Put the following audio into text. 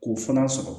K'o fana sɔrɔ